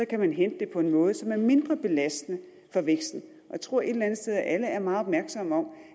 kan man hente det på en måde som er mindre belastende for væksten og jeg tror et eller andet sted at alle er meget opmærksomme på